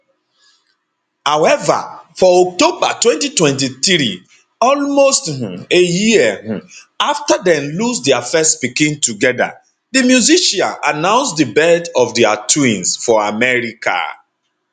however for october 2023 almost um a year um afta dem lose dia first pikin togeda di musician announce di birth of dia twins for america